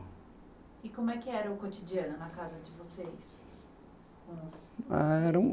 E como é que era o cotidiano na casa de vocês? Ah era um